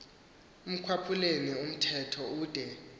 ekwaphuleni umthetho ude